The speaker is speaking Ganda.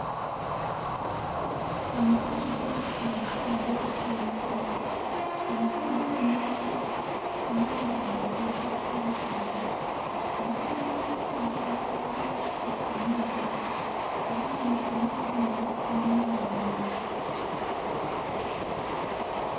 Omusajja ng'atudde ku nku omusajja ono ayambadde enkoofiira ku mutwe. Emabega w'omusajja waliwo ettanuulu era nga mu ttanuulu muno mulimu omuliro.